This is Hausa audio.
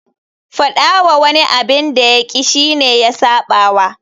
Faɗa wa wani abin da ya ƙi shi ne ya saɓawa.